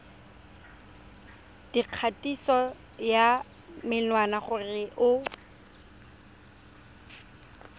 dikgatiso ya menwana gore o